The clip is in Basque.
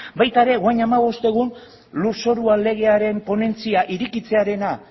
baita ere orain hamabost egun lurzoruaren legearen ponentzia irekitzearena